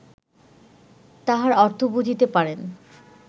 তাহার অর্থ বুঝিতে পারেন